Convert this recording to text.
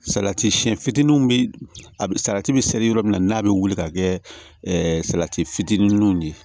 Salati siyɛn fitinin bɛ salati bɛ seri yɔrɔ min na n'a bɛ wuli ka kɛ salati fitininw de ye